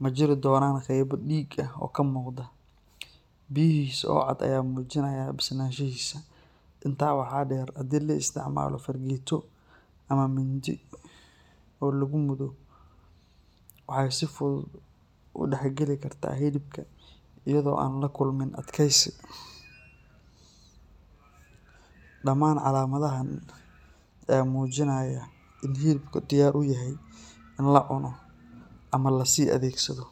ma jiri doonaan qaybo dhiig ah oo ka muuqda, biyihiisa oo cad ayaa muujinaya bislaanshihiisa. Intaa waxaa dheer, haddii la isticmaalo fargeeto ama mindi oo lagu mudo, waxay si fudud ugu dhex geli kartaa hilibka iyada oo aan la kulmin adkaysi. Dhamaan calaamadahan ayaa muujinaya in hilibka diyaar u yahay in la cuno ama la sii adeegsado.